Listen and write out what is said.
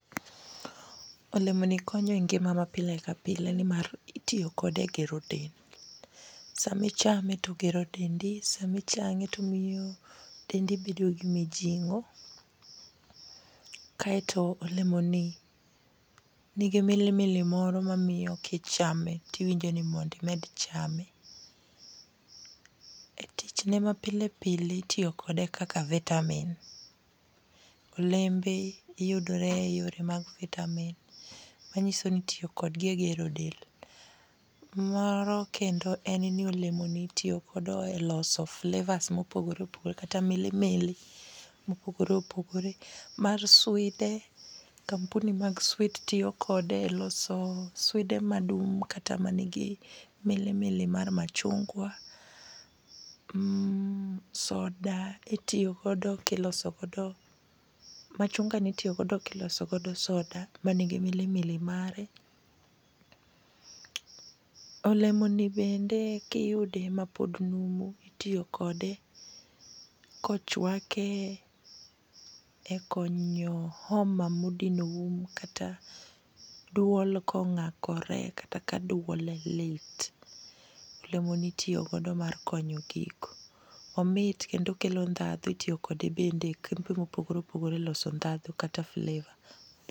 Olemo ni konyo e ngima ma pile ka pile nimar itiyo kode e gero del. Sami chame togero dendi sami chame tomiyo dendi bedo gi mijing'o. Kaeto olemo ni nigi milimili moro ma miyo kichame tiwinjo ni mondi med chame. E tich ne mapile pile itiyo kode kaka vitamin. Olembe yudore e yore mag vitamin manyiso ni itiyo kodgi e egero del .Moro kendo en ni olemo ni itiyo kodo e loso flavours mopogore opogore kata milimili mopogore opogore mar swide. Kampuni mag swiit tiyo kode e loso swide madung' kata milimili mar machungwa. Soda itiyo godo kiloso godo machunga ni itiyo godo kiloso godo soda manigi milimili mare . Olemo ni bende kiyude mapod numu itiyo kode kochwake e konyo homa modino um kata duol kong'akore kata ka duonde lit. Olemo ni itiyo godo mar konyo kik omit kendo okelo ndhadhu. Itiyo kode bende mopogore opogore loso ndhandhu kata flavour.